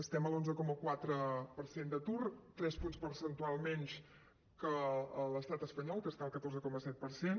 estem a l’onze coma quatre per cent d’atur tres punts percentuals menys que l’estat espanyol que està al catorze coma set per cent